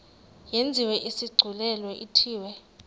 yenziwe isigculelo ithiwe